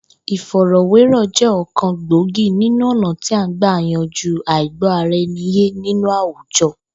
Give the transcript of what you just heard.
Ìfò̩rò̩wérò̩ jé̩ ò̩kan gbòógì nínú ò̩nà tí à ń gbà yanjú àìgbó̩-ara-e̩ni yé nínú àwùjo̩